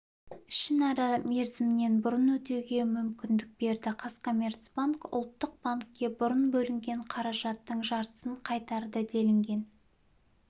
ішінара мерзімінен бұрын өтеуге мүмкіндік берді қазкоммерцбанк ұлттық банкке бұрын бөлінген қаражаттың жартысын қайтарды делінген